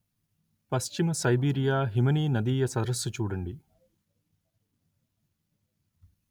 పశ్చిమ సైబీరియా హిమనీనదీయ సరస్సు చూడండి